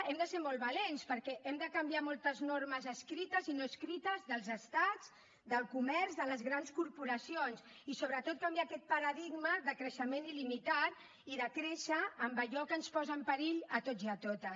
hem de ser molt valents perquè hem de canviar moltes normes escrites i no escrites dels estats del comerç de les grans corporacions i sobretot canviar aquest paradigma de creixement il·limitat i de créixer amb allò que ens posa en perill a tots i a totes